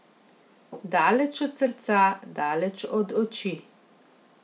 Daleč od srca, daleč od oči.